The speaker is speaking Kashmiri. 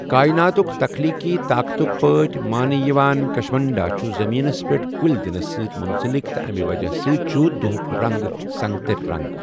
کائناتُک تَخلیٖقی طاقتٕک پٲٹھۍ مانہٕ یِوان کشمنڈا چھُ زٔمینَس پٮ۪ٹھ کُلۍ دِنَس سۭتۍ منسلک تہٕ امہِ وجہہ سۭتۍ چھُ دۄہُک رنگ سَنٛگتَر رَنٛگ۔